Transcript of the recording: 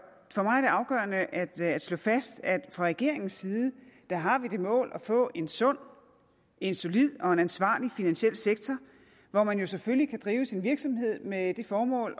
afgørende at at slå fast at fra regeringens side har vi det mål at få en sund en solid og en ansvarlig finansiel sektor hvor man jo selvfølgelig kan drive sin virksomhed med det formål